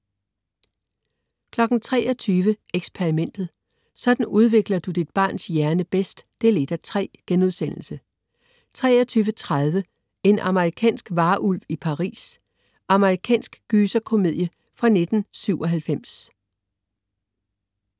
23.00 Eksperimentet: Sådan udvikler du dit barns hjerne bedst 1:3* 23.30 En amerikansk varulv i Paris. Amerikansk gyserkomedie fra 1997